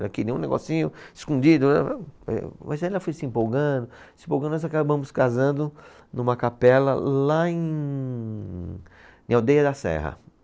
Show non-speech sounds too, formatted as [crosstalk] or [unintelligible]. Era que nem um negocinho escondido, [unintelligible] mas aí ela foi se empolgando, se empolgando, nós acabamos casando numa capela lá em, em Aldeia da Serra.